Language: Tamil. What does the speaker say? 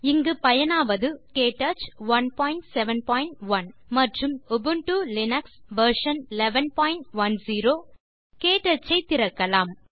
இங்கு பயனாவது உபுண்டு லினக்ஸ் வெர்ஷன் 1110 மற்றும் க்டச் 171 க்டச் ஐ திறக்கலாம்